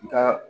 Ka